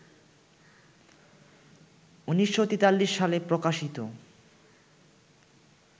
১৯৪৩ সালে প্রকাশিত